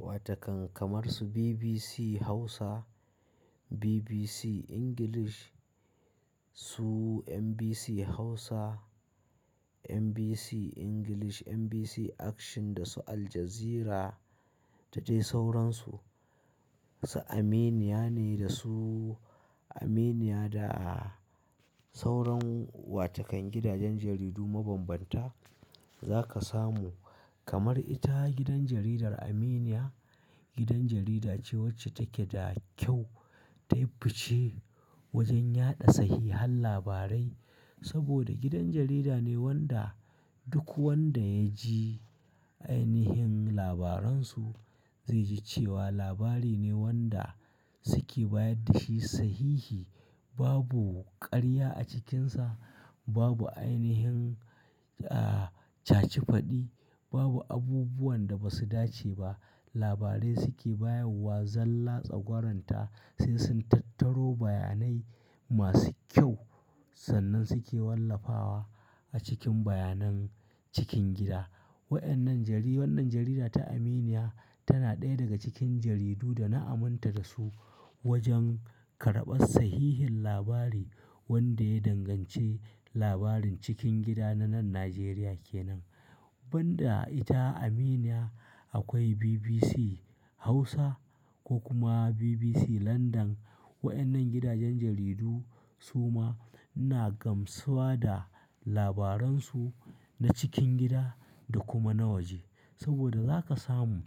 Watakan kamar su BBC Hausa, BBC English, su MBC Hausa, MBC English, MBC Action da su Al Jazeera da dai sauransu. Su Aminiya ne da su Aminiya da sauran watakan gidajen jaridu mabambanta za ka samu kamar ita gidan jaridar Aminiya, gidan jarida ce wacce take da kyau, ta yi fice wajen yaɗa sahihan labarai. Saboda gidan jarida ne wanda duk wanda ya ji ainihin labaransu zai ji cewa labari ne wanda suke bayar da shi sahihi. Babu ƙarya a cikinsa, babu ainihin, ah, caci faɗi, babu abubuwan da ba su dace ba. Labarai suke bayarwa zalla tsagwaranta sai sun tattaro bayanai masu kyau sannan suke wallafawa a cikin bayanan cikin gida. Waɗannan jari-- wannan jarida ta Aminiya tana ɗaya daga cikin jaridu da na aminta da su wajen karɓar sahihin labari wanda ya danganci labarin cikin gida na nan Najeriya ke nan. Ban da ita Aminiya akwai BBC Hausa ko kuma BBC Landan. Waɗannan gidajen jaridu su ma ina gamsuwa da labaransu na cikin gida da kuma na waje. Saboda za ka samu